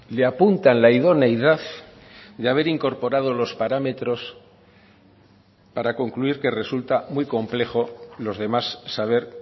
le apuntan la idoneidad de haber incorporado los parámetros para concluir que resulta muy complejo los demás saber